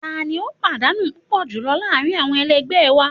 Tani o padanu pupọ julọ laarin awọn ẹlẹgbẹ wa